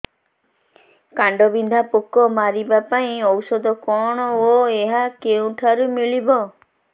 କାଣ୍ଡବିନ୍ଧା ପୋକ ମାରିବା ପାଇଁ ଔଷଧ କଣ ଓ ଏହା କେଉଁଠାରୁ ମିଳିବ